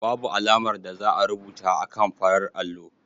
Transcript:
Babu alamar da za a rubuta akan farar allo.